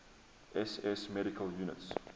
ss medical units